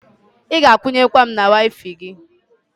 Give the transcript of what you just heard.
Ị ga akwunye nwu m na Waifai gị?